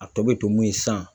A tɔ bɛ to mun ye san